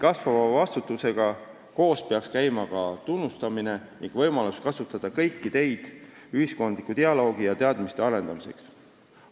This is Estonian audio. Kasvava vastutusega koos peaks käima ka tunnustamine ning võimalused kasutada kõiki teid ühiskondliku dialoogi arendamiseks.